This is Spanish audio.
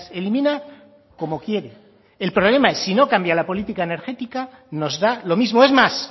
elimina como quiere el problema si no cambia la política energética nos da lo mismo es más